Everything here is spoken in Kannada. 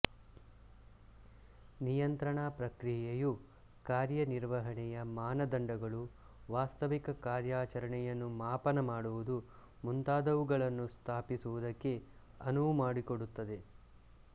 ನಿಯಂತ್ರಣಾ ಪ್ರಕ್ರಿಯೆಯು ಕಾರ್ಯನಿರ್ವಹಣೆಯ ಮಾನದಂಡಗಳು ವಾಸ್ತವಿಕ ಕಾರ್ಯಾಚರಣೆಯನ್ನು ಮಾಪನ ಮಾಡುವುದು ಮುಂತಾದವುಗಳನ್ನು ಸ್ಥಾಪಿಸುವುದಕ್ಕೆ ಅನುವು ಮಾಡಿಕೊಡುತ್ತದೆ